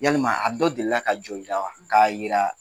Yalima a dɔ delila ka jɔ i la wa k'a yira ?